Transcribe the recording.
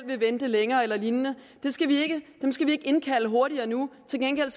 vil vente længere eller lignende dem skal vi ikke indkalde hurtigere nu til gengæld